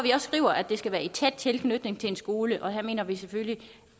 skriver at det skal være i tæt tilknytning til en skole og her mener vi selvfølgelig